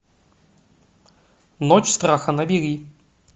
ночь страха набери